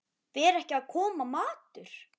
Fer ekki að koma matur?